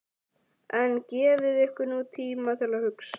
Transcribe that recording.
En gefið ykkur nú tíma til að hugsa.